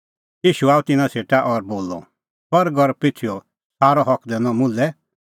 ईशू आअ तिन्नां सेटा और बोलअ स्वर्ग और पृथूईओ सारअ हक दैनअ मुल्है